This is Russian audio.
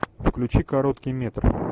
включи короткий метр